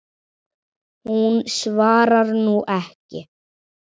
Hún svarar nú ekki.